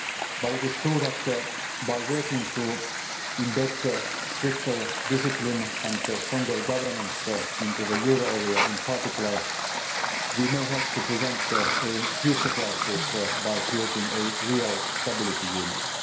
crisis. But it is true that, by working to embed stricter discipline and stronger governance into the euro area in particular, we may help to prevent a future crisis by creating a real stability